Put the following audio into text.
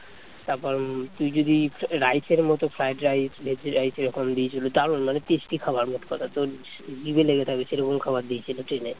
তারপর তুই যদি রাইস এর মতো ফ্রাইড রাইস এরকম দিয়েছিলো দারুন মানে tasty খাবার মোট কথা তোর জিভে লেগে থাকবে সেরকম খাবার দিয়েছিল ট্রেনে